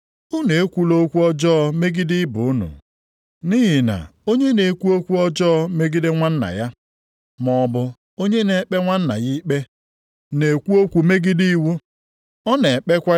Ụmụnna m, unu ekwula okwu ọjọọ megide ibe unu. Nʼihi na onye na-ekwu okwu ọjọọ megide nwanna ya, maọbụ onye na-ekpe nwanna ya ikpe, na-ekwu okwu megide iwu. Ọ na-ekpekwa iwu ahụ ikpe. Mgbe unu na-ekpe iwu ahụ ikpe, unu adịghị edebe ya kama unu bụ ndị na-ekpe ya ikpe.